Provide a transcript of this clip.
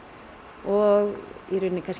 og kannski